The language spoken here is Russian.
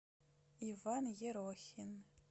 иван ерохин